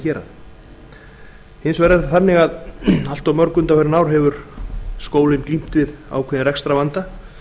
heimahérað hins vegar er það þannig að allt of mörg undanfarin ár hefur skólinn glímt við ákveðinn rekstrarvanda